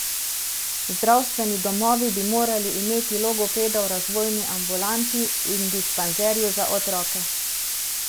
Zdravstveni domovi bi morali imeti logopeda v razvojni ambulanti in dispanzerju za otroke.